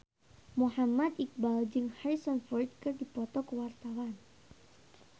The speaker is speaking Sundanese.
Muhammad Iqbal jeung Harrison Ford keur dipoto ku wartawan